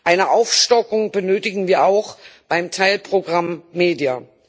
Eine Aufstockung benötigen wir auch beim Teilprogramm Media.